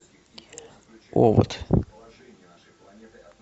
овод